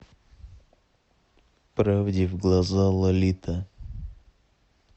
правде в глаза лолита